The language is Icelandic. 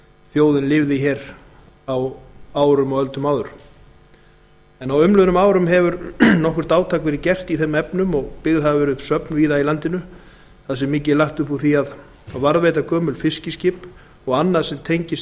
þjóðin lifði á árum og öldum áður á umliðnum árum hefur nokkurt átak verið gert í þeim efnum og byggð hafa verið upp söfn víða á landinu þar sem mikið er lagt upp úr því að varðveita gömul fiskiskip og annað sem tengist